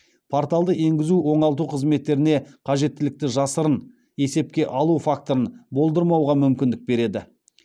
порталды енгізу оңалту қызметтеріне қажеттілікті жасырын есепке алу факторын болдырмауға мүмкіндік береді